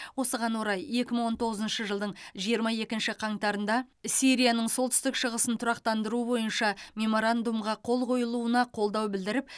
осыған орай екі мың он тоғызыншы жылдың жиырма екінші қаңтарында сирияның солтүстік шығысын тұрақтандыру бойынша меморандумға қол қойылуына қолдау білдіріп